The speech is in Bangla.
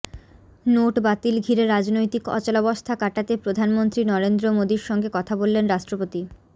নোট বাতিল ঘিরে রাজনৈতিক অচলাবস্থা কাটাতে প্রধানমন্ত্রী নরেন্দ্র মোদীর সঙ্গে কথা বললেন রাষ্ট্রপতি